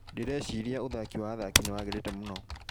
Ndíreciria ũthaki wa athaki nĩ wagĩrĩte múno